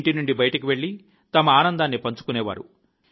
ఇంటి నుండి బయటకు వెళ్లి తమ ఆనందాన్ని పంచుకునేవారు